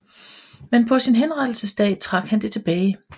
Men på sin henrettelsesdag trak han det tilbage